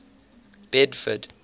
bedford